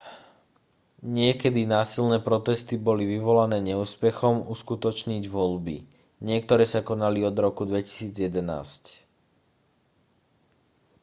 niekedy násilné protesty boli vyvolané neúspechom uskutočniť voľby niektoré sa konali od roku 2011